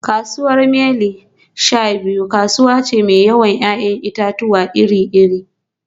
Kasuwar Mile-sha-biyu kasuwa ce mai yawan 'ya'yan itatuwa iri-iri